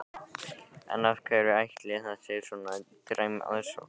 En af hverju ætli að það sé svona dræm aðsókn?